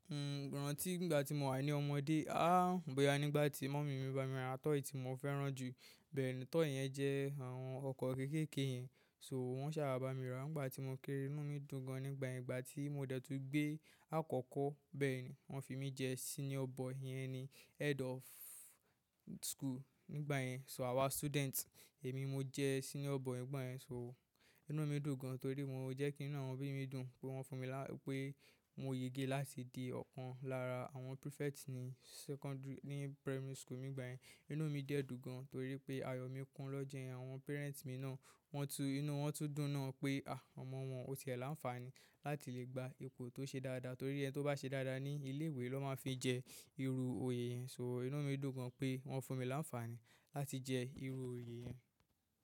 N ò rántí nígbà tí mo wà ní ọmọdé, b'oya nígbà tí mummy mi bá mi ra toy tí mo fẹ́ràn jù, bẹ́ẹ̀ni toy yẹn jẹ́ àwọn ọkọ̀ kéékèèké yẹn, so wọ́n sá bà mi rà nígbà tí mo kéré. Inú mi dùn gan nígbà yẹn. Ìgbà tí mo dẹ̀ tun gbé àkọ́kọ́, bẹ́ẹ̀ni wọ́n fi mí jẹ́ senior boy, yẹn ni head of school nígbà yẹn. So àwa student, èmi mo jẹ́ senior boy nígbà yẹn. So inú mi dùn gan torí mọ́ jẹ́ kí inú àwọn òbí mi dùn pé wọ́n fún mi lá— pé mo yege láti di ọ̀kan lára àwọn prefect ní secondary— ní primary school nígbà yẹn. Inú mi de dùn gan, torí pe ayo mi kun lọ́jọ́ yen. Àwọn parent mi náà, wọ́n tún inú wọ́n tún dùn náà pé àh ọmọ won ti e ni àǹfààní láti lè gba ipò tó ṣe dáadáa torí ẹni tó bá ṣe dáadáa ní ilé ìwé ló máa ń fi jẹ́ irú òye yẹn. So inú mi dùn gan pé wọ́n fún mi láǹfààní láti jẹ́ irú òye yẹn.